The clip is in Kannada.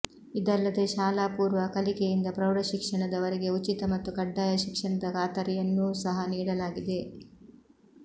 ಇದಲ್ಲದೇ ಶಾಲಾಪೂರ್ವ ಕಲಿಕೆಯಿಂದ ಪ್ರೌಢಶಿಕ್ಷಣದವರೆಗೆ ಉಚಿತ ಮತ್ತು ಕಡ್ಡಾಯ ಶಿಕ್ಷಣದ ಖಾತರಿಯನ್ನೂ ಸಹಾ ನೀಡಲಾಗಿದೆ